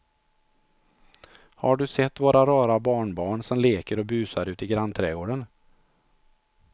Har du sett våra rara barnbarn som leker och busar ute i grannträdgården!